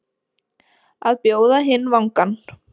Að bjóða hinn vangann